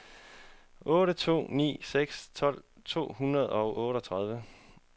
otte to ni seks tolv to hundrede og otteogtredive